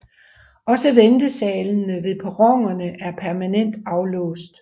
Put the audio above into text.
Også ventesalene ved perronerne er permanent aflåst